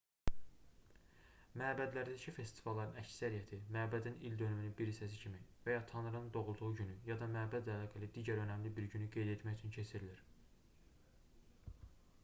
məbədlərdəki festivalların əksəriyyəti məbədin ildönümünün bir hissəsi kimi və ya tanrının doğulduğu günü ya da məbədlə əlaqəli digər önəmli bir günü qeyd etmək üçün keçirilir